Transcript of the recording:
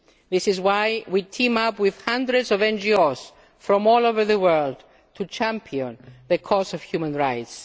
key. This is why we team up with hundreds of NGOs from all over the world to champion the cause of human rights.